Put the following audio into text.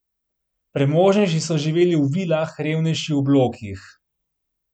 Premožnejši so živeli v vilah, revnejši v blokih.